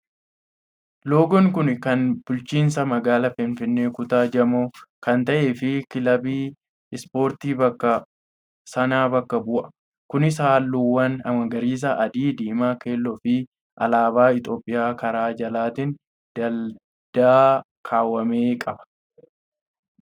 Loogoon kun kan bulchiinsa magaalaa Finfinnee kutaa Jamoo kan ta'eee fi kilabii ispoortii bakka sanaa bakka bu'a. Kunis halluuwwan magariisa , adii, diimaa, keelloo fi alaabaa Itoophiyaa karaa jalaatiin dalda kaawame qaba.